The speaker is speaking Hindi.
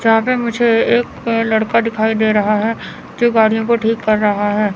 जहा पे मुझे एक लड़का दिखाई दे रहा है जो गाड़ियों को ठीक कर रहा है।